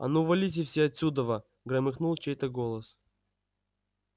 а ну валите все отсюдова громыхнул чей-то голос